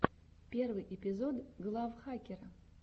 первый эпизод глав хакера